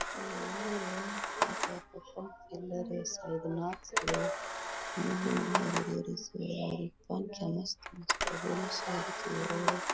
pillar है --